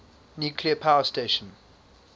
nuclear power station